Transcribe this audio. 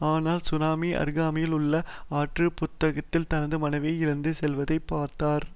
ஆனால் சுனாமி அருகாமையிலுள்ள ஆற்று புத்தகளுக்குள் தனது மனைவியை இழுத்து செல்வதை பார்த்தார்